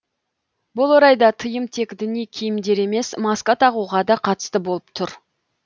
бұл орайда тыйым тек діни киімдер емес маска тағуға да қатысты болып тұр